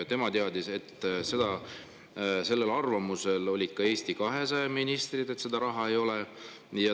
Tema teadis, sellel arvamusel olid ka Eesti 200 ministrid, et seda raha ei ole.